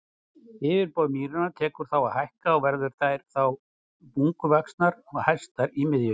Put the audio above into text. Yfirborð mýranna tekur þá að hækka og verða þær þá bunguvaxnar og hæstar í miðju.